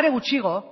are gutxiago